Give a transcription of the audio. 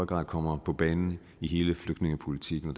grad kommer på banen i hele flygtningepolitikken og